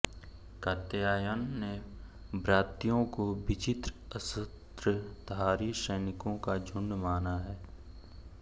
कात्यायन ने व्रात्यों को विचित्र अस्त्रधारी सैनिकों का झुंड माना है